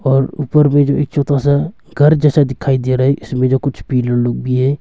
और ऊपर में जो एक छोटा सा घर जैसा दिखाई दे रहा है इसमें जो कुछ पीलर लोग भी हैं।